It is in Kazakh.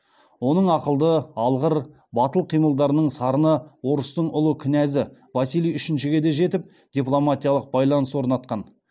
оның ақылды алғыр батыл қимылдарының сарыны орыстың ұлы князі василий үшіншіге де жетіп дипломатиялық байланыс орнатқан